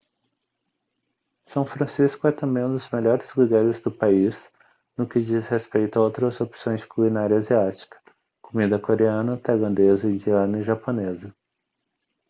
são francisco é também um dos melhores lugares do país no que diz respeito a outras opções de culinária asiática comida coreana tailandesa indiana e japonesa